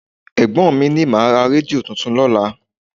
Ẹ̀gbọ́n mi máa ra rédíò tuntun lọ́la